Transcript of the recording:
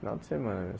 Final de semana né.